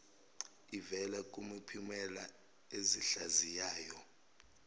ivela kumiphumela ezihlaziyayo